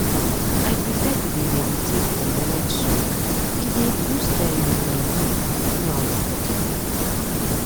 ah i prefer to dey meditate for morning sun e dey boost ehm my mood throughout the day